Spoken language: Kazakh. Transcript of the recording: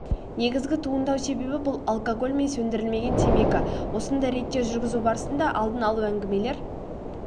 негізгі туындау себебі бұл алкоголь мен сөндірілмеген темекі осындай рейдтер жүргізу барысында алдын алу әңгімелер